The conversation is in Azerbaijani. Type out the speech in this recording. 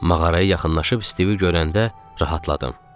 Mağaraya yaxınlaşıb Stivi görəndə rahatladım.